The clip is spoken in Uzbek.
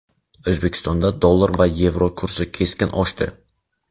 O‘zbekistonda dollar va yevro kursi keskin oshdi.